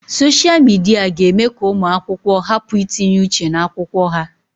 Soshia Midia ga-eme ka ụmụ akwụkwọ hapụ itinye uche n'akwụkwọ ha.